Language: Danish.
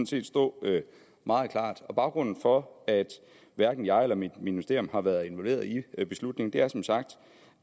set stå meget klart baggrunden for at hverken jeg eller mit ministerium har været involveret i beslutningen er som sagt